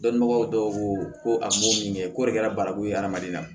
Dɔnbagaw dɔw ko ko a m'o min kɛ k'o de kɛra barakulu ye adamaden na